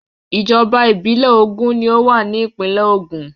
Ìjọba ìbílẹ̀ ogún ni ó wà ní ìpínlè Ògùn.